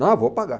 Não, eu vou pagar.